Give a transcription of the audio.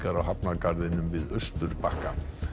á hafnargarðinum við Austurbakka